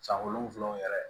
San wolonwula yɛrɛ